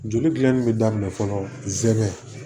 Joli gilanni bɛ daminɛ fɔlɔ zɛgɛn